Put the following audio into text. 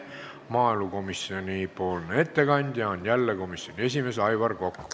Maaelukomisjoni ettekandja on jälle komisjoni esimees Aivar Kokk.